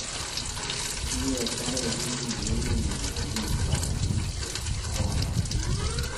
kibeektagei bunyik ya kinyoryo biikwak cheitei bokol oeng'.